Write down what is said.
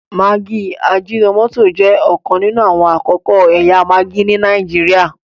maggi ajinomoto jẹ òkan nínú àwọn akọko ẹyà maggi ní Nàìjíríà